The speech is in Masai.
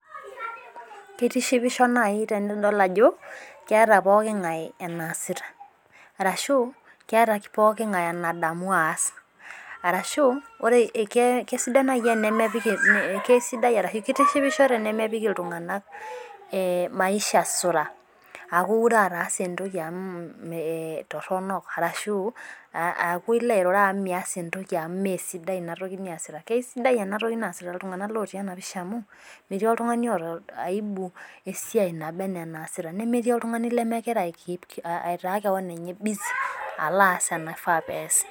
Kitishipisho naaji tenidol ajo, keeta pooki ngae enaasita arashu, keeta pooki ngae enadamu aas, arashu ore kesidan naai tenemepik kesidai arashu, kitishipisho tenemepik iltunganak eh maisha suraa aaku iure ataasa etoki amu, mm eh torono arashu, aaku ilo airura amu mias etoki amu, mee sidai ina toki niasita. Kesidai ena toki naasita iltunganak otii ena pisha amu, metii oltungani oota aibu esiai naba enaa enaasita nemetii oltungani lemegira ai keep aitaa kewon enye busy alo aas enaifaa pee eyas.